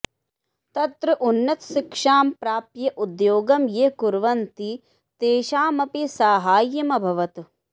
तत्र उन्नतशिक्षां प्राप्य उद्योगं ये कुर्वन्ति तेषामपि साहाय्यमभवत्